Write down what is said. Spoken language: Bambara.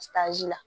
la